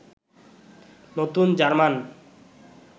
নতুন জার্মান